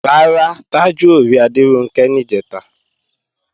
Rárá, Tájù ò rí Adéronkẹ́ níjẹ̀ta